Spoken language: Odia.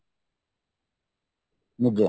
ନିଜେ